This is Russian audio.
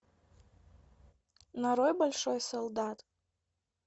нарой большой солдат